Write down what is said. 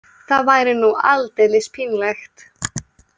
Það væri nú aldeilis pínlegt.